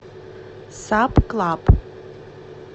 сабклаб